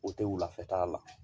O tɛ wulafɛ t'a la